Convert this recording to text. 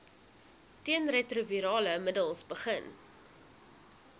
teenretrovirale middels begin